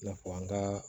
I n'a fɔ an ka